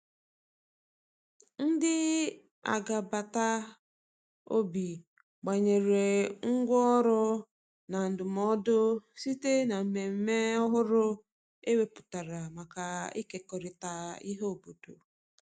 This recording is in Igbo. ndi agabata obi gbanwere ngwa ọrụ na ndumụdo site na mmeme ọhụrụ e weputara maka ikekọrita ihe obodo